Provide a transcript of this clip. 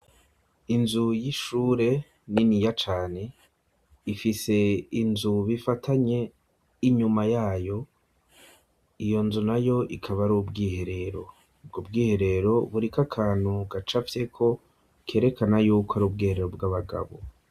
Inzu y'ishure niniya cane, ifise inzu bifatanye inyuma yayo, iyo nzu nayo ikaba ari ubwiherero, ubwo bwiherero buriko akantu gacafyeko kerekana yuko ari ubwiherero bw'abagabo.